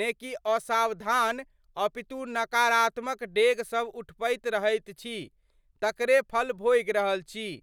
ने कि असावधान अपितु नकारात्मक डेग सभ उठबैत रहैत छी तकरे फल भोगि रहल छी।